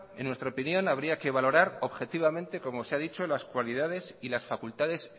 en nuestra opinión habría que valorar objetivamente como se ha dicho las cualidades y las facultades